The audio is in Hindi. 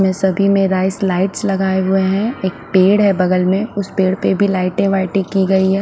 यहाँ सभी में राइस लाइट्स लगाए हुए है एक पेड़ है बगल में उस पेड़ पे भी लाइटे वाईटे की गयी है।